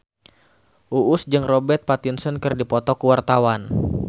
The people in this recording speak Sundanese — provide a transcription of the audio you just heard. Uus jeung Robert Pattinson keur dipoto ku wartawan